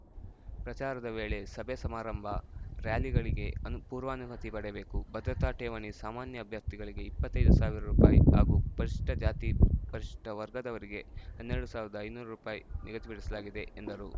ಪ್ರಚಾರದ ವೇಳೆ ಸಭೆ ಸಮಾರಂಭ ರಾರ‍ಯಲಿಗಳಿಗೆ ಪೂರ್ವಾನುಮತಿ ಪಡೆಯಬೇಕು ಭದ್ರತಾ ಠೇವಣಿ ಸಾಮಾನ್ಯ ಅಭ್ಯರ್ಥಿಗಳಿಗೆ ಇಪ್ಪತ್ತೈದು ಸಾವಿರ ರುಪಾಯಿ ಹಾಗೂ ಪರಿಷಿಷ್ಠ ಜಾತಿ ಪರಿಷಿಷ್ಠ ವರ್ಗದವರಿಗೆ ಹನ್ನೆರಡು ಸಾವಿರದ ಐನೂರು ರುಪಾಯಿ ನಿಗದಿಪಡಿಸಲಾಗಿದೆ ಎಂದರು